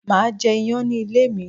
Máà jẹ iyán ní ilé mi